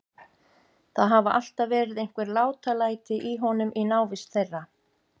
Það hafa alltaf verið einhver látalæti í honum í návist þeirra.